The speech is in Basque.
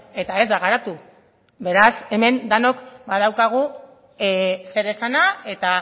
eta ez da garatu beraz hemen denok badaukagu zeresana eta